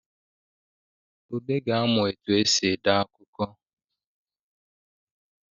Ude ga-amụ etu e si ede akụkọ